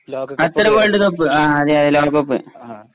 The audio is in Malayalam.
ഖത്തർ വേൾഡ് കപ്പ് ആ അതെ അതെയതെ ലോക കപ്പ്